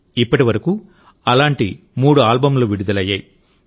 ఇప్పటి వరకు అలాంటి మూడు ఆల్బమ్లు విడుదలయ్యాయి